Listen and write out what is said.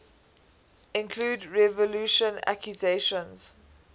include revulsion accusations